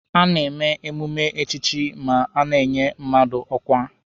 A na-eme emume echichi ma a na-enye mmadụ ọkwa.